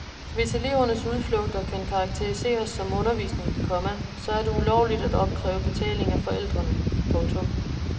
Hvis elevernes udflugter kan karakteriseres som undervisning, komma så er det ulovligt at opkræve betaling af forældrene. punktum